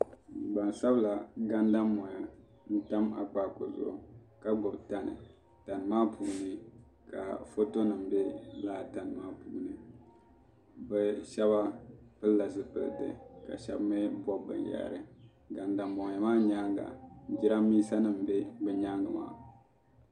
gbansabila gandammoya n tam akpaaku zuɣu ka gbubi tani tani maa puuni ka foto nim bɛ laa tani maa puuni bi shab pilila zipiliti ka shab mii bob binyahri gandammoya maa nyaanga jiranbiisa nim n bɛ bi nyaangi maa